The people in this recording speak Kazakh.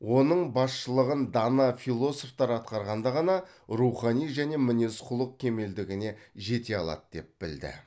оның басшылығын дана философтар атқарғанда ғана рухани және мінез құлық кемелдігіне жете алады деп білді